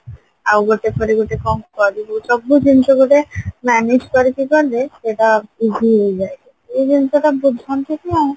ଆଉ ଗୋଟେ ପରେ ଗୋଟେ କଣ କରିବି ସବୁ ଜିନିଷ ଗୋଟେ manage କରିକି କଲେ ସେଇଟା easy ହେଇଯାଏ ଏଇ ଜିନିଷ ତା ବୁଝନ୍ତିନି ଆଉ